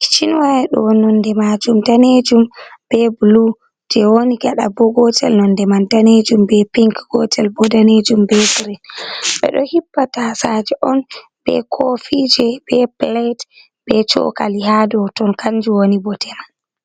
kichinwaya ɗo nonde majum danejum be bulu je woni gaɗa bo gotel nonde man danejum be pink, gotel bo danejum be girin, ɓeɗo hippatasaje on, be kofi je, be pilet, be chokali ha dow ton kanju woni bote man.